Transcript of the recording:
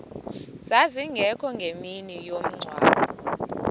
zazingekho ngemini yomngcwabo